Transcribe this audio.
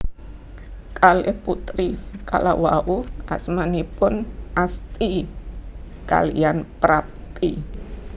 Kalih putri kalawau asmanipun Asti kaliyan Prapti